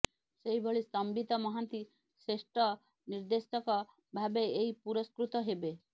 ସେହିଭଳି ସମ୍ବିତ ମହାନ୍ତି ଶ୍ରେଷ୍ଠ ନିର୍ଦ୍ଦେଶକ ଭାବେ ଏହି ପୁରସ୍କୃତ ହେବେ